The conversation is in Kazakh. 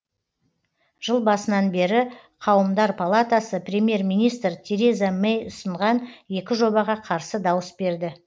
жыл басынан бері қауымдар палатасы премьер министр тереза мэй ұсынған екі жобаға қарсы дауыс берді